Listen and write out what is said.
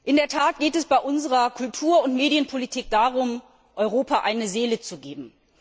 In der Tat geht es bei unserer Kultur und Medienpolitik darum, Europa eine Seele zu geben.